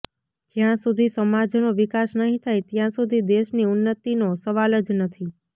જ્યાં સુધી સમાજનો વિકાસ નહી થાય ત્યાં સુધી દેશની ઉન્નતીનો સવાલ જ નથી